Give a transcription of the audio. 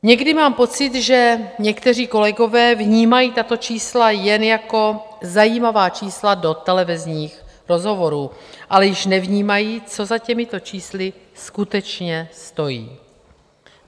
Někdy mám pocit, že někteří kolegové vnímají tato čísla jen jako zajímavá čísla do televizních rozhovorů, ale již nevnímají, co za těmito čísly skutečně stojí.